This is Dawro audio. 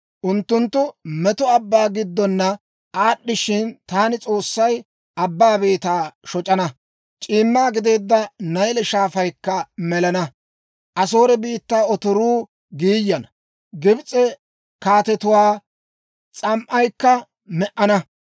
Unttunttu meto abbaa giddona aad'd'ishshin, taani S'oossay abbaa beetaa shoc'ana; c'iimma gideedda Nayle Shaafaykka melana. Asoore biittaa otoruu giiyana; Gibs'e kaatetuwaa s'am"aykka me"ana.